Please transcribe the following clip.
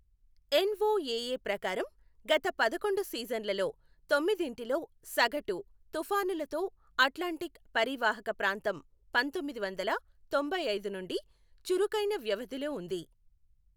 NOAA ప్రకారం, గత పదకొండు సీజన్లలో తొమ్మిదింటిలో సగటు తుఫానులతో అట్లాంటిక్ పరీవాహక ప్రాంతంపంతొమ్మిది వందల తొంభైఐదు నుండి చురుకైన వ్యవధిలో ఉంది.